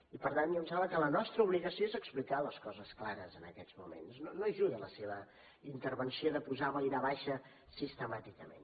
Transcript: i per tant a mi em sembla que la nostra obligació és explicar les coses clares en aquests moments no hi ajuda la seva intervenció de posar boira baixa sistemàticament